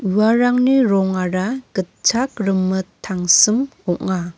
uarangni rongara gitchak rimit tangsim ong·a.